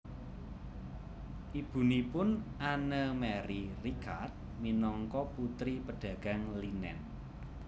Ibunipun Anne Marie Ricard minangka putri pedagang linen